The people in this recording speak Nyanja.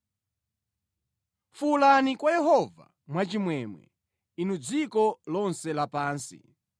Fuwulani kwa Yehova mwachimwemwe, inu dziko lonse lapansi.